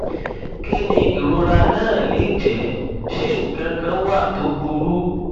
kí ni ìrora náà lè jẹ ṣé nǹkan kan wà tó burú